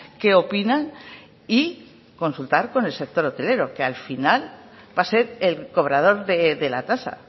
qué opinan y consultar con el sector hotelero que al final va a ser el cobrador de la tasa